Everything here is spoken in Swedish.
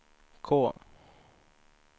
K